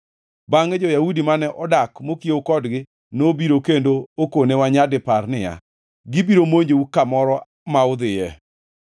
Bangʼe jo-Yahudi mane odak mokiewo kodgi nobiro kendo okonewa nyadipar niya, “Gibiro monjou kamoro ma udhiyoe.”